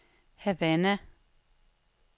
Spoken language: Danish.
Havana